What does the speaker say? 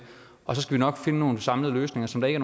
og så skal vi nok finde nogle samlede løsninger som der ikke